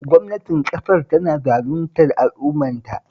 Gwamnatin ƙasar tana zaluntar al'ummarta